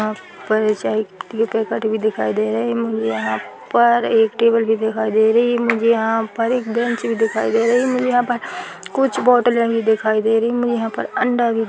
दिखाई दे रहेमुझे यहाँ पर एक टेबल भी दिखाई दे रही मुझे यहाँ पर एक बेंच भी दिखाई दे रही है मुझे यहाँ पर कुछ बॉटले भी दिखाई दे रही है मुझे यह पर अंडा भी--